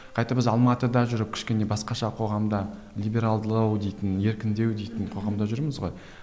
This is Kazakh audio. қайта біз алматыда жүріп кішкене басқаша қоғамда либералдылау дейтін еркіндеу дейтін қоғамда жүрміз ғой